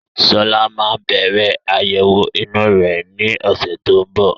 Sọlá máa bẹ̀rẹ̀ àyẹ̀wọ̀ inú rẹ ni ọ̀sẹ̀ tó ń bọ̀